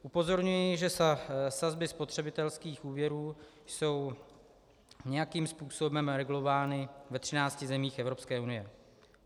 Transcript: Upozorňuji, že sazby spotřebitelských úvěrů jsou nějakým způsobem regulovány ve třinácti zemích Evropské unie.